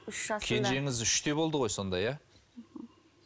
үш жасында кенжеңіз үште болды ғой сонда иә мхм